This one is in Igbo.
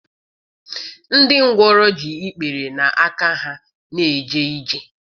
Ndị ngwọrọ ji ikpere na aka ha na-eje ije.